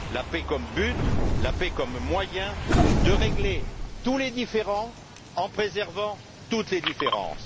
La paix comme but, comme moyen de régler tous les différends en préservant toutes les différences.